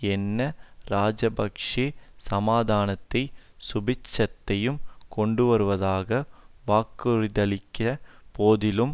என்ன இராஜபக்ஷ சமாதானத்தையும் சுபீட்சத்தையும் கொண்டு வருவதாக வாக்குறுதியளித்த போதிலும்